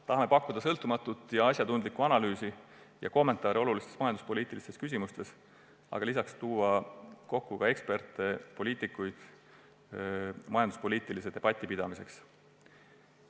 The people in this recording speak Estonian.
Tahame pakkuda sõltumatut ja asjatundlikku analüüsi ja kommentaare olulistes majanduspoliitilistes küsimustes ning tuua kokku eksperte ja poliitikuid majanduspoliitilise debati pidamiseks.